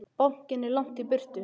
Bankinn er langt í burtu.